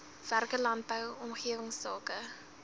werke landbou omgewingsake